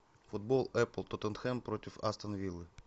футбол апл тоттенхэм против астон виллы